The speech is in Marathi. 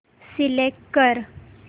सिलेक्ट कर